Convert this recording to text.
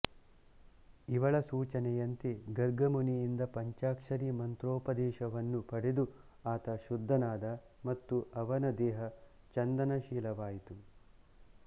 ಇವಳ ಸೂಚನೆಯಂತೆ ಗರ್ಗಮುನಿಯಿಂದ ಪಂಚಾಕ್ಷರಿ ಮಂತ್ರೋಪದೇಶವನ್ನು ಪಡೆದು ಆತ ಶುದ್ಧನಾದ ಮತ್ತು ಅವನ ದೇಹ ಚಂದನಶೀತಲವಾಯಿತು